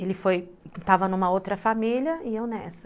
Ele foi, estava numa outra família e eu nessa.